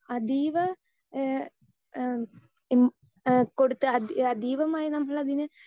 speaker 2 അതീവ ഏ എഹ് ഉം ഏഹ് അതീതമായി നമ്മൾ അതിന്